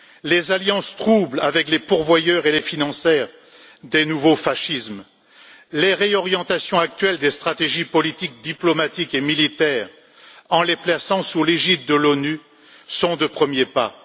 Les alliances troubles avec les pourvoyeurs et les financiers des nouveaux fascismes, les réorientations actuelles des stratégies politiques, diplomatiques et militaires, en les plaçant sous l'égide de l'ONU, sont des premiers pas.